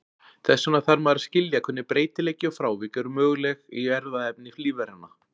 Þess vegna þarf maður að skilja hvernig breytileiki og frávik eru möguleg í erfðaefni lífveranna.